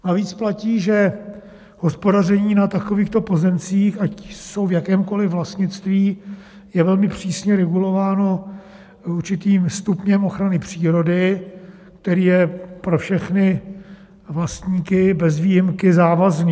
Navíc platí, že hospodaření na takovýchto pozemcích, ať jsou v jakémkoli vlastnictví, je velmi přísně regulováno určitým stupněm ochrany přírody, který je pro všechny vlastníky bez výjimky závazný.